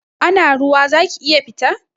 Ana ruwa zaki iya fita?